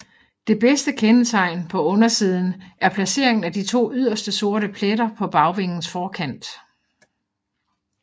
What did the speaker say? Det bedste kendetegn på undersiden er placeringen af de to yderste sorte pletter på bagvingens forkant